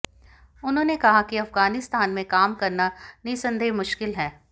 उन्होंने कहा कि अफगानिस्तान में काम करना निस्संदेह मुश्किल है